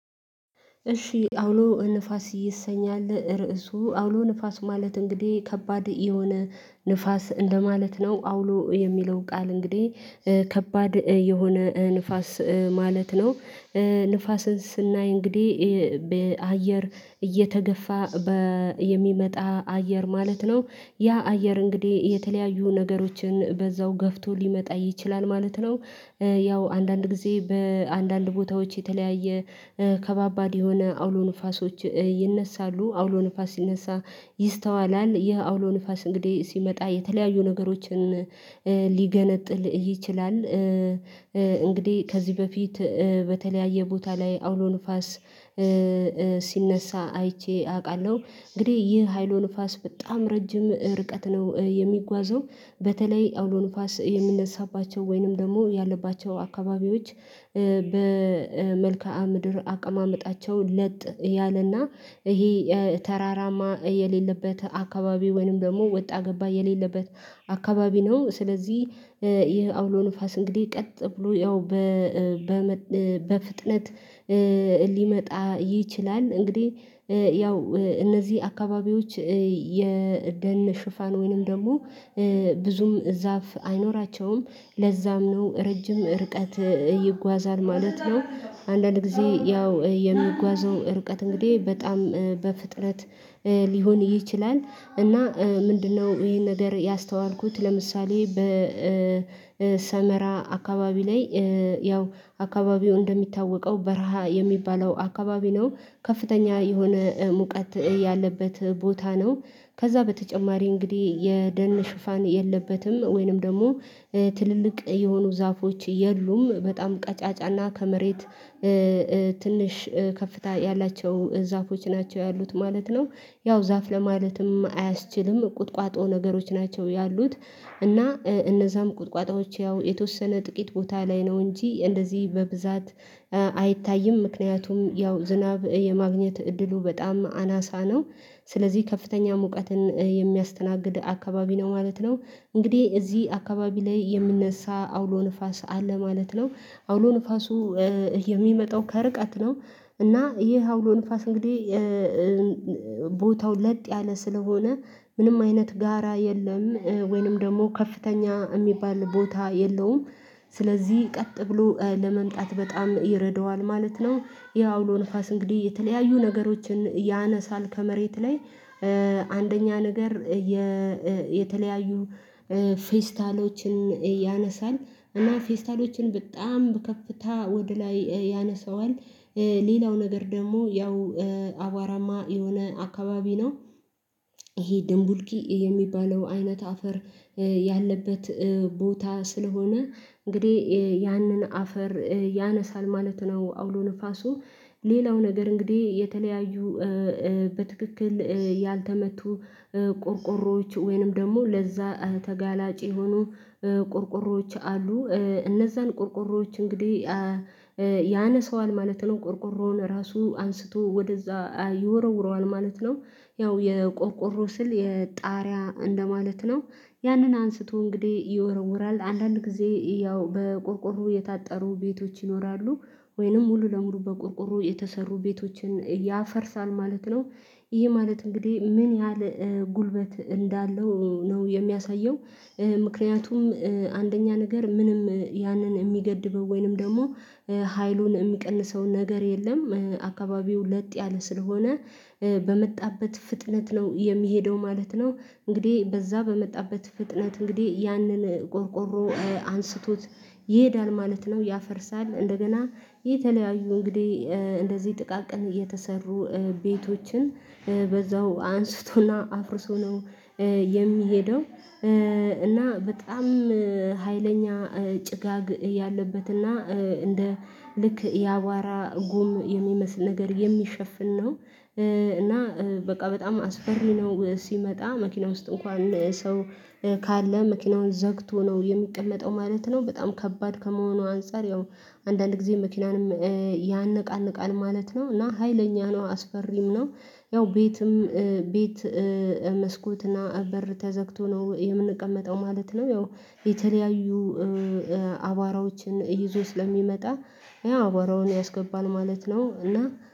እሺ፣ አውሎ ንፋስ ይሰኛል ርዕሱ አውሎ ንፋስ ማለት እንግዲህ ከባድ የሆነ ንፋስ እንደማለት ነው አውሎ የሚለው ቃል እንግዲህ ከባድ የሆነ ንፋስ ማለት ነው ንፋስን ስናይ እንግዲህ በአየር እየተገፋ በየሚመጣ አየር ማለት ነው ያ አየር እንግዲህ የተለያዩ ነገሮችን በዛው ገፍቶ ሊመጣ ይችላል ማለት ነው ያው አንዳንድ ጊዜ በአንዳንድ ቦታዎች የተለያየ ከባባድ የሆነ አውሎ ንፋሶች ይነሳሉ አውሎ ንፋስ ሲነሳ ይስተዋላል ይህ አውሎ ንፋስ እንግዲህ ሲመጣ የተለያዩ ነገሮችን ሊገነጥል ይችላል እንግዲህ ከዚህ በፊት በተለያየ ቦታ ላይ አውሎ ንፋስ ሲነሳ አይቼ አውቃለሁ እንግዲህ ይህ ሀይሉ ንፋስ በጣም ረጅም ርቀት ነው የሚጓዘው በተለይ አውሎ ንፋስ የምነሳባቸው ወይንም ደግሞ ያለባቸው አካባቢዎች በመልከአ ምድር አቀማመጣቸው ለጥ ያለና ይሄ ተራራማ የሌለበት አካባቢ ወይንም ደግሞ ወጣ ገባ የሌለበት አካባቢ ነው ስለዚህ ይሄ አውሎ ንፋስ እንግዲህ ቀጥ ብሎ ያው በፍጥነት ሊመጣ ይችላል እንግዲህ ያው እነዚህ አካባቢዎች የደን ሽፋን ወይንም ደግሞ ብዙም ዛፍ አይኖራቸውም ለዛም ነው ረጅም ርቀት ይጓዛል ማለት ነው አንዳንድ ጊዜ ያው የሚጓዘው ርቀት እንግዲህ በጣም በፍጥረት ሊሆን ይችላል እና ምንድነው ይሄን ነገር ያስተዋልኩት፣ ለምሳሌ፦ በሰመራ አካባቢ ላይ ያው አካባቢው እንደሚታወቀው በረሃ የሚባለው አካባቢ ነው ከፍተኛ የሆነ ሙቀት ያለበት ቦታ ነው ከዛ በተጨማሪ እንግዲህ የደህን ሽፋን የለበትም ወይንም ደግሞ ትልልቅ የሆኑ ዛፎች የሉም በጣም ቀጫጫና ከመሬት ትንሽ ከፍታ ያላቸው ዛፎች ናቸው ያሉት ማለት ነው። ያው ዛፍ ለማለትም አያስችልም ቁጥቋጦ ነገሮች ናቸው ያሉት እና እነዛም ቁጥቋጦዎች ያው የተወሰነ ጥቂት ቦታ ላይ ነው እንጂ እንደዚህ በብዛት አይታይም ምክንያቱም ያው ዝናብ የማግኘት እድሉ በጣም አናሳ ነው ስለዚህ ከፍተኛ ሙቀትን የሚያስተናግድ አካባቢ ነው ማለት ነው እንግዲህ እዚህ አካባቢ ላይ የምንነሳ አውሎ ንፋስ አለ ማለት ነው አውሎ ንፋሱ የሚመጣው ከርቀት ነው እና ይህ አውሎ ንፋስ እንግዲህ ቦታው ለጥ ያለ ስለሆነ ምንም አይነት ጋራ የለም ወይንም ደግሞ ከፍተኛ የሚባል ቦታ የለውም ስለዚህ ቀጥ ብሎ ለመምጣት በጣም ይረደዋል ማለት ነው ያው አውሎ ንፋስ እንግዲህ የተለያዩ ነገሮችን ያነሳል ከመሬት ላይ አንደኛ ነገር የተለያዩ ፌስታሎችን ያነሳል እና ፌስታሎችን በጣም ከፍታ ወደ ላይ ያነሳዋል ሌላው ነገር ደግሞ ያው አዋራማ የሆነ አካባቢ ነው። ይሄ ድንቡልኪ የሚባለው አይነት አፈር ያለበት ቦታ ስለሆነ እንግዲህ ያንን አፈር ያነሳል ማለት ነው አውሎ ንፋሱ ሌላው ነገር እንግዲህ የተለያዩ በትክክል ያልተመቱ ቆርቆሮዎች ወይንም ደግሞ ለዛ ተጋላጭ የሆኑ ቆርቆሮዎች አሉ እነዛን ቆርቆሮዎች እንግዲህ ያነሰዋል ማለት ነው ቆርቆሮውን ራሱ አንስቶ ወደዛ ይወረውረዋል ማለት ነው ያው የቆቆሮ ስል የጣሪያ እንደማለት ነው ያንን አንስቶ እንግዲህ ይወረውራል አንዳንድ ጊዜ ያው በቆርቆሮ የታጠሩ ቤቶች ይኖራሉ ወይንም ሙሉ ለሙሉ በቆርቆሮ የተሰሩ ቤቶችን ያፈርሳል ማለት ነው ይሄ ማለት እንግዲህ ምን ያህል ጉልበት እንዳለው ነው የሚያሳየው ምክንያቱም አንደኛ ነገር ምንም ያንን የሚገድበው ወይንም ደግሞ ሀይሉን የሚቀንሰው ነገር የለም አካባቢው ለጥ ያለ ስለሆነ በመጣበት ፍጥነት ነው የሚሄደው ማለት ነው እንግዲህ በዛ በመጣበት ፍጥነት እንግዲህ ያንን ቆርቆሮ አንስቶት ይሄዳል ማለት ነው ያፈርሳል እንደገና ይህ የተለያዩ እንግዲህ እንደዚህ ጥቃቅን እየተሰሩ ቤቶችን በዛው አንስቶና አፍርሶ ነው የሚሄደው እና በጣም ሀይለኛ ጭጋግ ያለበትና እንደ ልክ የአቧራ ጉም የሚመስል ነገር የሚሸፍን ነው እና በቃ በጣም አስፈሪ ነው ሲመጣ መኪና ውስጥ እንኳን ሰው ካለ መኪናውን ዘግቶ ነው የሚቀመጠው ማለት ነው በጣም ከባድ ከመሆኑ አንፃር ያው አንዳንድ ጊዜ መኪናንም ያነቃነቃል ማለት ነው እና ሀይለኛ ነው አስፈሪም ነው ያው ቤትም ቤት መስኮትና በር ተዘግቶ ነው የምንቀመጠው ማለት ነው ያው የተለያዩ አባወራዎችን ይዞ ስለሚመጣ ያ አቧራውን ያስገባል ማለት ነው እና